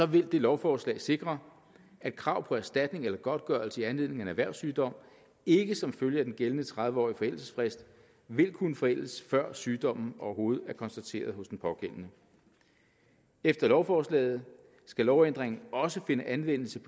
vil det lovforslag sikre at krav på erstatning eller godtgørelse i anledning af en erhvervssygdom ikke som følge af den gældende tredive årige forældelsesfrist vil kunne forældes før sygdommen overhovedet er konstateret hos den pågældende efter lovforslaget skal lovændringen også finde anvendelse